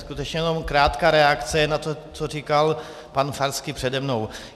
Skutečně jenom krátká reakce na to, co říkal pan Farský přede mnou.